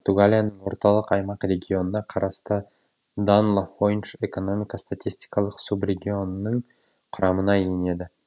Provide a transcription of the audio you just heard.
португалияның орталық аймақ регионына қарасты дан лафойнш экономика статистикалық субрегионының құрамына енеді